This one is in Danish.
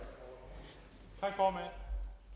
herre